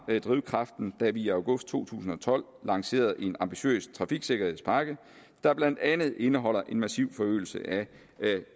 drivkraften da vi i august to tusind og tolv lancerede en ambitiøs trafiksikkerhedspakke der blandt andet indeholder en massiv forøgelse af